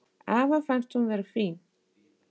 Afa fannst hún vera fín.